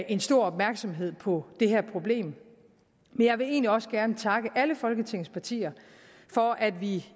en stor opmærksomhed på det her problem men jeg vil egentlig også gerne takke alle folketingets partier for at vi